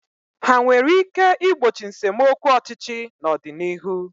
Ha nwere ike igbochi nsemokwu ọchịchị n'ọdịnihu?